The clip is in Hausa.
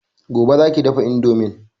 Gobe za ki dafa indomin